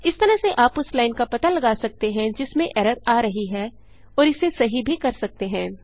इस तरह से आप उस लाइन का पता लगा सकते हैं जिसमें एरर आ रही है और इसे सही भी कर सकते हैं